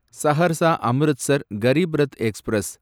Saharsa Amritsar Garib Rath express